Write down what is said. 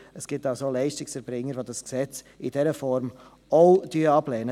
Es gibt auch Leistungserbringer, welche das Gesetz in dieser Form auch ablehnen.